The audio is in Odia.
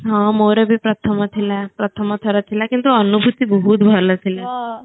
ହଁ ମୋର ଭି ପ୍ରଥମ ଥିଲା ପ୍ରଥମ ଥର ଥିଲା କିନ୍ତୁ ଅନୁଭୁତି ବହୁତ ଭଲ ଥିଲା